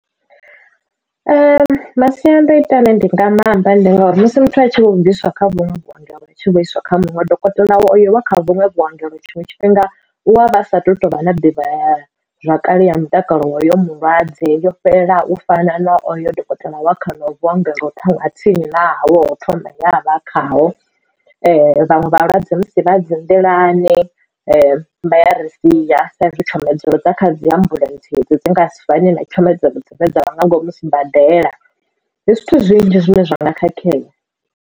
Masiandaitwa a ne ndi nga maamba ndi ngauri musi muthu a tshi vho bviswa kha vhunwe vhuongelo a tshi muisa kha muṅwe dokotela wa kha vhuṅwe vhuongelo tshiṅwe tshifhinga u wa vha sa tu tovha na ḓivha zwakale ya mutakalo ya uyo mulwadze yo fhelela u fana na oyo dokotela wa kha hono vho vhuongelo ha tsini na wo thoma nga ha vha khaho vhaṅwe vhalwadze musi vha dzi nḓilani vha ya ri sia sa izwi tshomedzo dza kha dzi ambulentse idzi dzi nga si fane na tshomedzo dzoṱhe dza nga ngomu sibadela ndi zwithu zwinzhi zwine zwa nga khakhea.